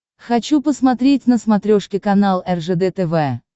хочу посмотреть на смотрешке канал ржд тв